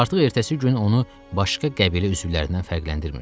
Artıq ertəsi gün onu başqa qəbilə üzvlərindən fərqləndirmirdilər.